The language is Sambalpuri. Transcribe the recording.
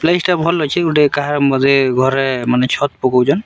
ପ୍ଲେସଟା ଭଲ ଅଛେ ଗୋଟେ କାହା ବୋଧେ ଘରେ ମାନେ ଛତ୍‌ ପକାଉଛନ୍‌।